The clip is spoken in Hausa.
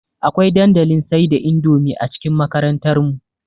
Akwai dandalin sai da indomie a cikin makarantar mu